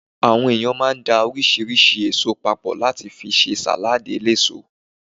Àwọn èèyàn máa ń da oríṣiríṣi èso papọ̀ láti fi ṣe sàládì eléso